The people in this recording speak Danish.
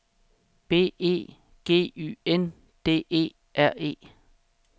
B E G Y N D E R E